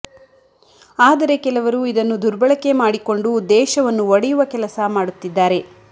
ಆದರೆ ಕೆಲವರು ಇದನ್ನು ದುರ್ಬಳಕೆ ಮಾಡಿಕೊಂಡು ದೇಶವನ್ನು ಒಡೆಯುವ ಕೆಲಸ ಮಾಡುತ್ತಿದ್ದಾರೆ